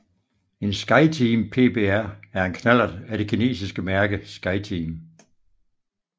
En Skyteam PBR er en knallert af det kinesiske mærke Skyteam